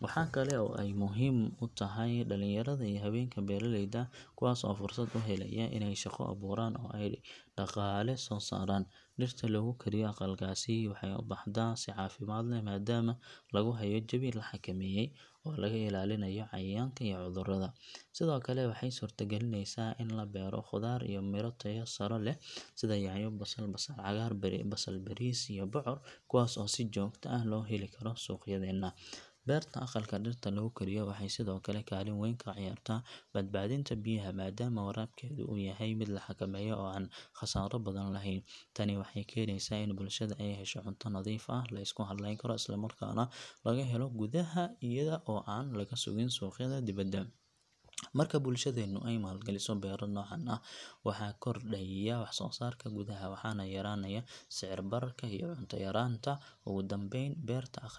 Waxa kale oo ay muhiim u tahay dhalinyarada iyo haweenka beeraleyda ah kuwaas oo fursad u helaya inay shaqo abuuraan oo ay dhaqaale soo saaraan. Dhirta lagu koriyo aqalkaasi waxay u baxdaa si caafimaad leh maadaama lagu hayo jawi la xakameeyey oo laga ilaalinayo cayayaanka iyo cudurrada. Sidoo kale waxay suurtagelinaysaa in la beero khudaar iyo miro tayo sare leh sida yaanyo, basal, basal-cagaar, basal-bariis iyo bocor kuwaas oo si joogto ah loo heli karo suuqyadeenna. Beerta aqalka dhirta lagu koriyo waxay sidoo kale kaalin weyn ka ciyaartaa badbaadinta biyaha maadaama waraabkeedu uu yahay mid la xakameeyo oo aan khasaaro badan lahayn. Tani waxay keenaysaa in bulshada ay hesho cunto nadiif ah, la isku halayn karo, isla markaana laga helo gudaha iyada oo aan laga sugin suuqyada dibadda. Marka bulshadeennu ay maalgeliso beero noocan ah, waxaa kordhaya wax soo saarka gudaha, waxaana yaraada sicir bararka iyo cunto yaraanta. Ugu dambeyn, beerta aqalka dhirta .